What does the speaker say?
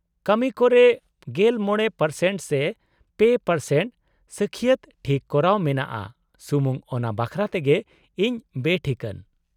ᱠᱟᱹᱢᱤ ᱠᱚ ᱨᱮ ᱑᱕% ᱥᱮ ᱓% ᱥᱟᱹᱠᱷᱤᱭᱟᱹᱛ ᱴᱷᱤᱠ ᱠᱚᱨᱟᱣ ᱢᱮᱱᱟᱜᱼᱟ ᱥᱩᱢᱩᱝ ᱚᱱᱟ ᱵᱟᱠᱷᱨᱟ ᱛᱮᱜᱮ ᱤᱧ ᱵᱮᱴᱷᱤᱠᱟᱹᱱ ᱾